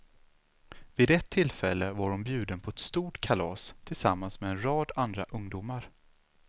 Vid ett tillfälle var hon bjuden på ett stort kalas tillsammans med en rad andra ungdomar.